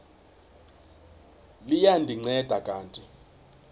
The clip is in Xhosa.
liya ndinceda kanti